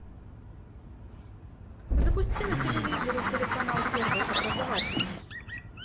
запусти на телевизоре телеканал первый образовательный